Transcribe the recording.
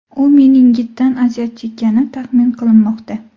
U meningitdan aziyat chekkani taxmin qilinmoqda.